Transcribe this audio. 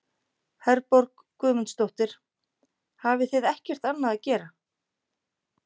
Herborg Guðmundsdóttir: Hafið þið ekkert annað að gera?